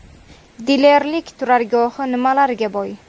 Dilerlik turargohi nimalarga boy?